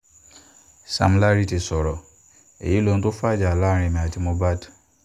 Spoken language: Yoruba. sam larry ti sọ̀rọ̀ èyí lóhun tó fàjà láàrin èmi àti mohbad